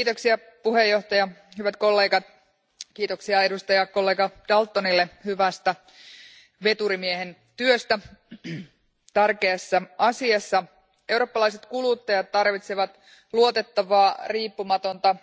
Arvoisa puhemies, hyvät kollegat, kiitos edustajakollega Daltonille hyvästä veturimiehen työstä tärkeässä asiassa. Eurooppalaiset kuluttajat tarvitsevat luotettavaa, riippumatonta